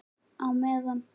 Á meðan